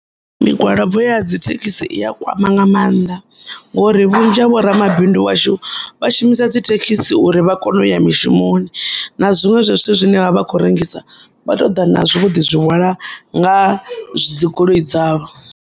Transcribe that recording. Migwalabo ya dzithekisi iya kwama nga maanḓa, ngauri vhunzhi ha vhoramabindu vhashu vha shumisa dzithekhisi uri vhakone uya mishumoni na zwiṅwe zwa zwithu zwine vha vha vha kho rengisa, vha touḓa nazwo vho ḓizwi hwala nga dzigoloi dzavho.